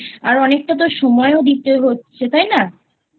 আর অনেকটা তোর সময়ও দিতে হচ্ছে তাই না?